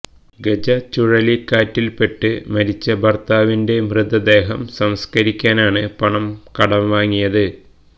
ഗജ ചുഴലിക്കാറ്റിൽപ്പെട്ട് മരിച്ച ഭർത്താവിന്റെ മൃതദേഹം സംസ്കരിക്കാനാണ് പണം കടം വാങ്ങിയത്